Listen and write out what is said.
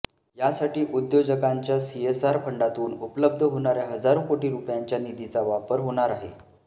यासाठी उद्योजकांच्या सीएसआर फंडातून उपलब्ध होणाऱ्या हजारो कोटी रुपयांच्या निधीचा वापर होणार आहे